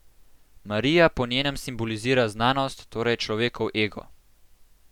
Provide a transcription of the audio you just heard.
Marija po njenem simbolizira Znanost, torej človekov Ego.